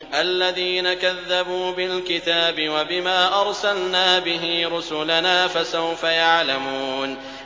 الَّذِينَ كَذَّبُوا بِالْكِتَابِ وَبِمَا أَرْسَلْنَا بِهِ رُسُلَنَا ۖ فَسَوْفَ يَعْلَمُونَ